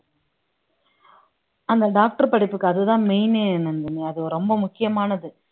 அந்த doctor படிப்புக்கு அதுதான் main ஏ நந்தினி அது ரொம்ப முக்கியமானது